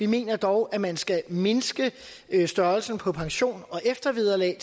mener dog at man skal mindske størrelsen på pensioner og eftervederlag